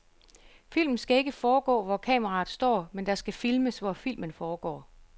Filmen skal ikke foregå, hvor kameraet står, men der skal filmes, hvor filmen foregår.